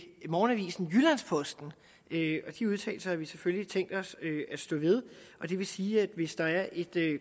morgenavisen jyllands posten og de udtalelser har vi selvfølgelig tænkt os at stå ved det vil sige at hvis der er et